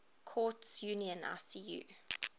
courts union icu